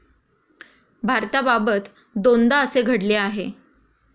भारताबाबत दोनदा तसे घडले आहे.